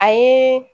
A ye